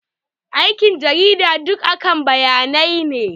Aikin jarida duk akan bayanai ne.